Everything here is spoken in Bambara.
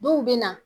Dɔw bɛ na